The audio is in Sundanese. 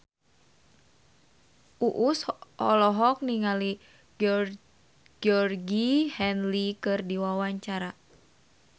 Uus olohok ningali Georgie Henley keur diwawancara